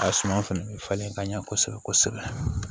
A suma fɛnɛ bɛ falen ka ɲɛ kosɛbɛ kosɛbɛ